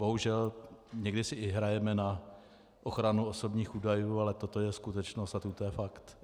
Bohužel někdy si i hrajeme na ochranu osobních údajů, ale toto je skutečnost a toto je fakt.